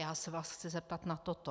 Já se vás chci zeptat na toto.